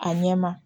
A ɲɛ ma